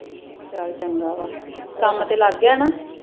ਚਲ ਚੰਗਾ ਵਾ ਕੰਮ ਤੇ ਲੱਗ ਗਿਆ ਨਾ